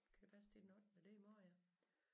Kan det passe det er den ottende det er i morgen ja